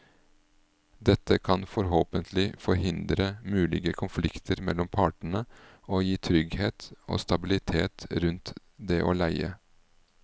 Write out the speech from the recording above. Dette kan forhåpentlig forhindre mulige konflikter mellom partene og gi trygghet og stabilitet rundt det å leie.